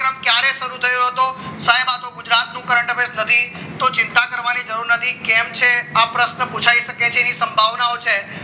ક્યારે શરૂ થયો હતો સાહેબ આ તો ગુજરાતનો દેશ નથી તો ચિંતા કરવાની જરૂર નથી કેમ છે આ પ્રશ્ન પુછાય શકે તેની સંભાવનાઓ છે